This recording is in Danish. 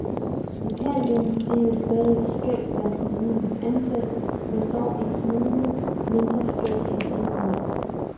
Lokallønnen fordeles stadig skævt blandt kommunens ansatte, men dog en lille smule mindre skævt end tidligere.